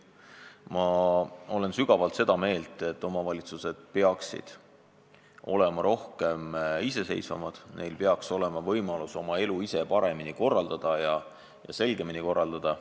Ma olen kindlalt seda meelt, et omavalitsused peaksid olema rohkem iseseisvad, neil peaks olema võimalus oma elu ise paremini ja selgemini korraldada.